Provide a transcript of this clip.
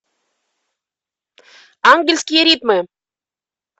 ангельские ритмы